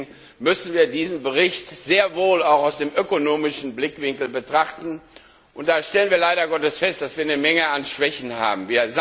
Deswegen müssen wir diesen Bericht sehr wohl auch aus dem ökonomischen Blickwinkel betrachten, und da stellen wir leider Gottes fest, dass wir eine Menge an Schwächen haben.